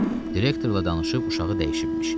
Direktorla danışıb uşağı dəyişibmiş.